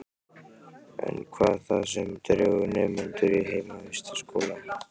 En hvað er það sem dregur nemendur í heimavistarskóla?